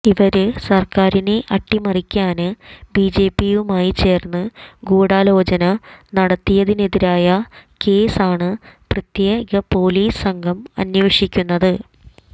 ഇവര് സര്ക്കാരിനെ അട്ടിമറിക്കാന് ബിജെപിയുമായി ചേര്ന്ന് ഗൂഢാലോചന നടത്തിയതിനെതിരായ കേസ് ആണ് പ്രത്യേ പൊലീസ് സംഘം അന്വേഷിക്കുന്നത്